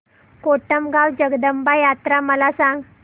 कोटमगाव जगदंबा यात्रा मला सांग